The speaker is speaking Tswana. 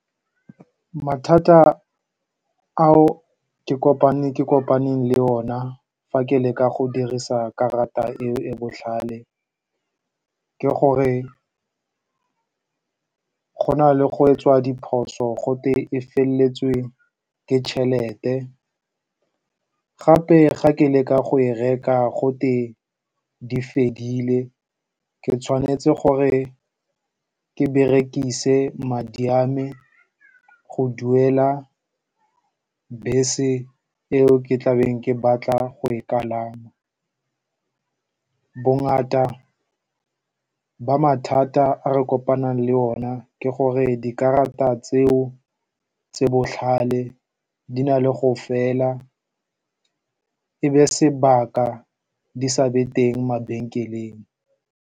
Mathata ao ke kopane, ke kopaneng le ona fa ke leka go dirisa karata eo e e botlhale, ke gore go na le go etsoa diphoso, gote e feletswe ke tšhelete, gape fa ke leka go e reka, gote di fedile. Ke tshwanetse gore ke berekise madi a me go duela bese eo ke tlabeng ke batla go palama. Bongata ba mathata a re kopanang le ona ke gore dikarata tseo tse di botlhale di na le go fela, e be sebaka di sa be teng mabenkeleng.